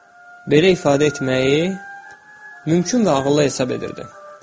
Belə ifadə etməyi mümkün və ağıllı hesab edirdi.